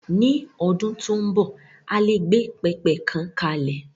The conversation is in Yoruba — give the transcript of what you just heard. Ni ọdún tó ń bọ̀, a lè gbé pẹpẹ kan kalẹ̀.